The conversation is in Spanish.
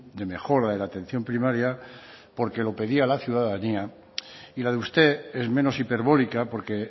de mejora de la atención primaria porque lo pedía la ciudadanía y la de usted es menos hiperbórica porque